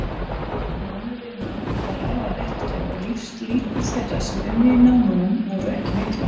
Námuvinna var afar hættuleg og lífslíkur þeirra sem unnu í námunum voru ekki miklar.